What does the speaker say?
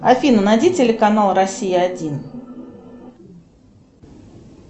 афина найди телеканал россия один